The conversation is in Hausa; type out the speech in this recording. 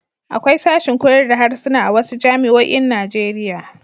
Akwai sashin koyar da harsuna a wasu jami'oin Najeriya.